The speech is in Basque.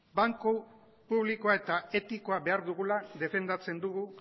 banku publikoa eta etiko behar dugula defendatzen dugu